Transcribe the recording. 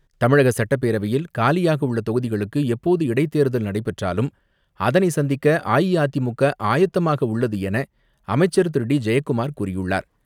தமிழக சட்டப்பேரவையில் காலியாக உள்ள தொகுதிகளுக்கு எப்போது இடைத் தேர்தல் நடைபெற்றாலும் அதனை சந்திக்க அஇஅதிமுக ஆயத்தமாக உள்ளது என அமைச்சர் திரு டி ஜெயக்குமார் கூறியுள்ளார்.